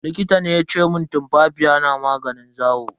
Likita ne yace mun tumfafiya na maganin zawo.